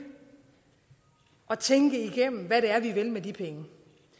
og tænke igennem hvad vi vil med de penge